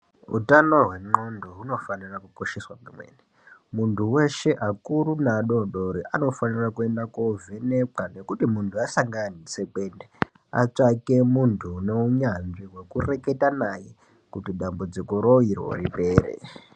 Hutano hwendxondo hunofanirwa kosheswa kwemene. Muntu weshe akuru neadoko anofana kuenda kovhenekwa nekuti muntu asangana neutsekwende atsvake muntu ane hunyanzvi wekureketa naye kuti dambudzikoro iro ripere.